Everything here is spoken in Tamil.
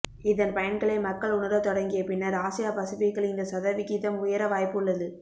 இதன் பயன்களை மக்கள் உணரத் தொடங்கிய பின்னர் ஆசியா பசிபிக்கில் இந்த சதவிகிதம் உயர வாயப்பு உள்ளது